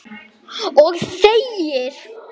Og þegir.